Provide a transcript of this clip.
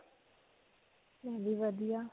ਵਧੀਆ.